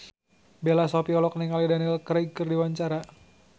Bella Shofie olohok ningali Daniel Craig keur diwawancara